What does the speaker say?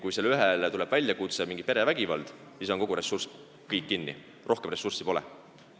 Kui sellele ühele tuleb väljakutse, kuskil on perevägivald, siis on kogu ressurss kinni, rohkem ressurssi pole.